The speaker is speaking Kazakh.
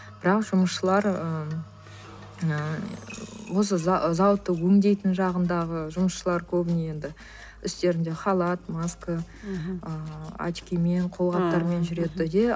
бірақ жұмысшылар ыыы осы зауытты өңдейтін жағындағы жұмысшылар көбіне енді үстілерінде халат маска мхм ыыы очкимен қолғаптармен жүреді де